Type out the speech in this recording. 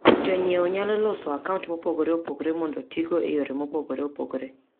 Jonyiewo nyalo loso akaunt mopogore opogore mondo otigo e yore mopogore opogore.